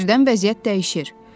Birdən vəziyyət dəyişir.